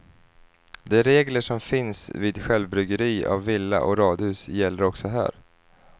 De regler som finns vid självbyggeri av villa och radhus gäller också här.